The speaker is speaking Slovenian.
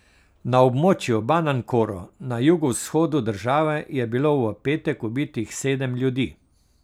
Na območju Banankoro na jugovzhodu države je bilo v petek ubitih sedem ljudi.